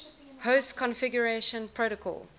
host configuration protocol